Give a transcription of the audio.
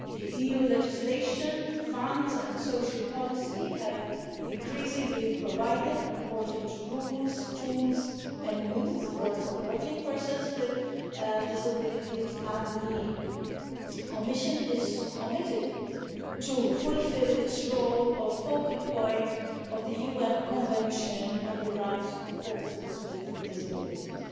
EU legislation, funds and social policy have increasingly provided important rules, tools and means for supporting persons with disabilities, and the Commission is committed to fulfil its role as a focal point of the UN Convention on the Rights of Persons with Disabilities.